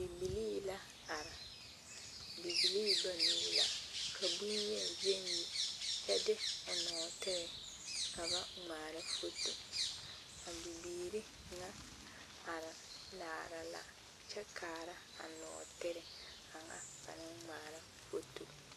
Bibilii la are bibilii banuu la ka bonyen gyɛŋ yi kyɛ de o nɔɔtere ka ba ŋmaara foto a bibiiri ŋa are laara la kyɛ kaara a nɔɔtere kaŋa ba naŋ ŋmaara foto.